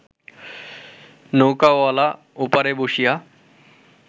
নৌকাওয়ালা ওপারে বসিয়া